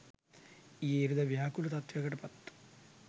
ඊයේ ඉරිදා ව්‍යාකූල තත්වයකට පත්